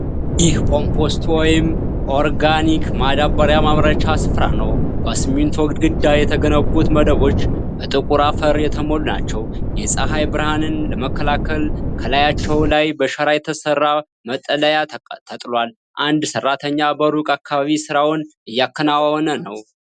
ይህ ኮምፖስት ወይም ኦርጋኒክ ማዳበሪያ ማምረቻ ስፍራ ነው። በሲሚንቶ ግድግዳ የተገነቡት መደቦች በጥቁር አፈር የተሞሉ ናቸው። የፀሐይ ብርሃንን ለመከላከል ከላያቸው ላይ በሸራ የተሰራ መጠለያ ተጥሏል። አንድ ሰራተኛ በሩቁ አካባቢው ስራውን እያከናወነ ነው።